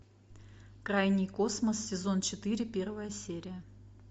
крайний космос сезон четыре первая серия